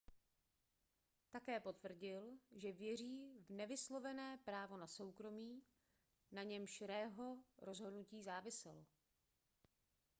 také potvrdil že věří v nevyslovené právo na soukromí na němž roeho rozhodnutí záviselo